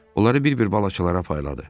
Onları bir-bir balıqçılara payladı.